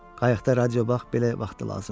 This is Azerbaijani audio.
Qayıqda radio bax belə vaxtı lazımdır.